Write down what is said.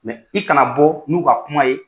Mɛ i kana bɔ n'u ka kuma ye